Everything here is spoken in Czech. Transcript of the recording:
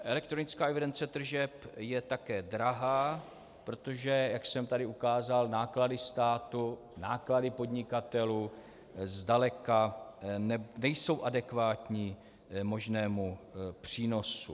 Elektronická evidence tržeb je také drahá, protože jak jsem tady ukázal, náklady státu, náklady podnikatelů zdaleka nejsou adekvátní možnému přínosu.